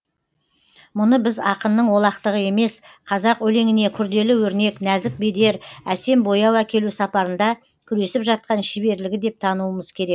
мұны біз ақынның олақтығы емес қазақ өлеңіне күрделі өрнек нәзік бедер әсем бояу әкелу сапарында күресіп жатқан шеберлігі деп тануымыз керек